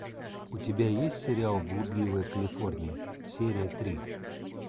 у тебя есть сериал блудливая калифорния серия три